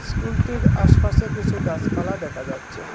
স্কুলটির আশপাশে কিসু গাসপালা দেখা যাচ্ছে।